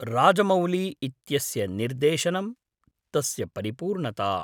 राजमौली इत्यस्य निर्देशनम्, तस्य परिपूर्णता।